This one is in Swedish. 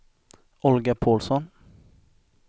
Olga Paulsson